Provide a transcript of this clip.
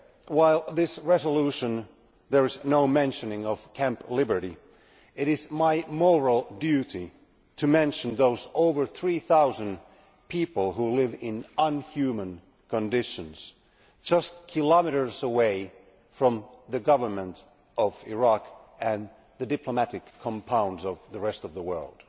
While in this resolution there is no mention of Camp Liberty, it is my moral duty to mention the more than three thousand people who live in inhuman conditions just kilometres away from the government of Iraq and the diplomatic compounds of the rest of the world.